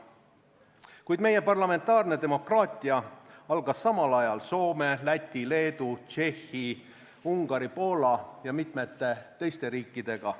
Kuid meie parlamentaarne demokraatia algas samal ajal Soome, Läti, Leedu, Tšehhi, Ungari, Poola ja mitmete teiste riikidega.